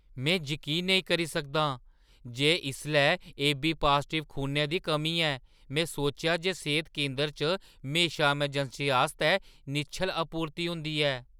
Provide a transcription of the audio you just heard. में जकीन नेईं करी सकदा आं जे इसलै एबी-पाजटिव खूनै दी कमी ऐ। में सोचेआ जे सेह्‌त केंदर च म्हेशा अमरजैंसी आस्तै निश्चल आपूर्ति होंदी ऐ।